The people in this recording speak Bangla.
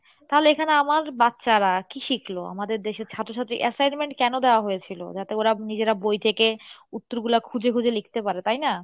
তাহলে এখানে আমার বাচ্চারা কী শিখলো আমাদের দেশে ছাত্রছাত্রী assignment কেনো দেওয়া হয়েছিলো, যাতে ওরা নিজেরা বই থেকে উত্তরগুলা খুঁজে খুঁজে লিখতে পারে তাই না?